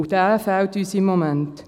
Dieser fehlt uns im Moment.